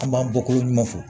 An b'an bɔkoloɲuman fɔ